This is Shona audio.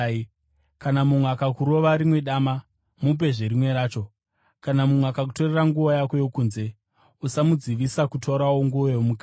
Kana mumwe akakurova rimwe dama, mupezve rimwe racho. Kana mumwe akakutorera nguo yako yokunze, usamudzivisa kutorawo nguo yomukati.